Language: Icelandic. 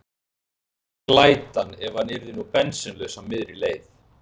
Glætan, ef hann yrði nú bensínlaus á miðri leið!